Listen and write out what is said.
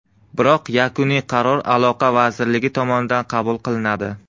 Biroq yakuniy qaror aloqa vazirligi tomonidan qabul qilinadi.